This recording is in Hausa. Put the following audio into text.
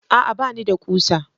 A'a! Ba ni da ƙusa.